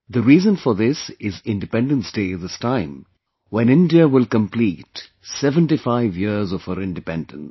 The reason for this is Independence Day this time, when India will complete 75 years of her independence